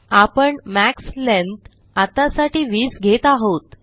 आपण max length आत्तासाठी 20 घेत आहोत